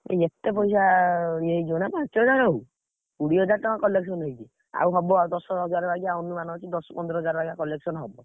ଏତେ, ପଇସା ଇଏ ହେଇଯିବନା ପାଞ୍ଚ ହଜାର ହଉ। କୋଡିଏ ହଜାର ଟଙ୍କା collection ହେଇଛି। ଆଉ ହବ ଦଶ ହଜାର ବାଗିଆ ଅନୁମାନ ଅଛି ଦଶ ପନ୍ଦର ହଜାର ବାଗିଆ collection ହବ।